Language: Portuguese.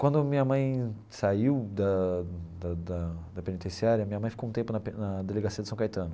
Quando minha mãe saiu da da da da penitenciária, minha mãe ficou um tempo na pe na Delegacia de São Caetano.